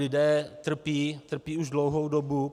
Lidé trpí, trpí už dlouhou dobu.